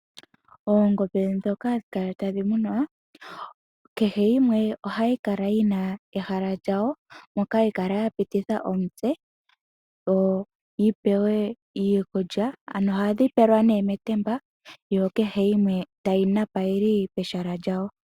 Oongombe ndhoka hadhi kala tadhi munwa, kehe yimwe ohayi kala yi na ehala lyayo moka hayi kala ya pititha omutse yo yi pewe iikulya ano ohadhi pelwa nee metemba yo kehe yimwe tayi napa yili pehala lyayo.